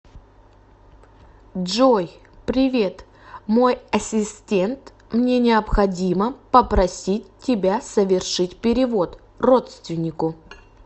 джой привет мой ассистент мне необходимо попросить тебя совершить перевод родственнику